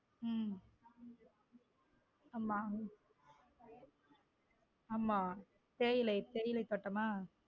உம் ஆமா ஆமா தேயிலை தேயிலை தோட்டமா.